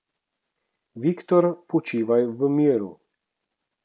Viktor, počivaj v miru.